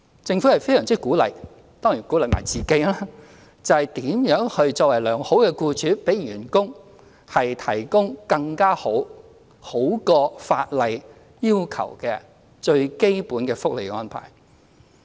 政府非常鼓勵企業——當然也鼓勵自己——考量如何作為良好僱主，為員工提供更佳、較法例要求的基本福利更好的安排。